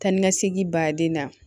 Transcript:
Taa ni ka segin baden na